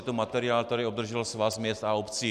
Je to materiál, který obdržel Svaz měst a obcí.